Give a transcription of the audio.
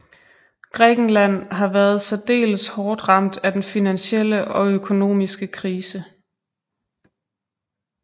Grækenland har været særdeles hårdt ramt af den finansielle og økonomiske krise